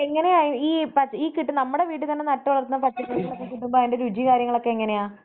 എങ്ങനെയാ ഈ പ, ഈ ഈ കിട്ടുന്ന നമ്മടെ വീടുകളിൽ നട്ടുവളർത്തുന്ന പച്ചക്കറികളൊക്കെ കിട്ടുമ്പോ രുചിയും കാര്യങ്ങളൊക്കെ എങ്ങനെയാ?